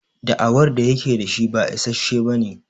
Da'awar da yake da shi ba issashe bane.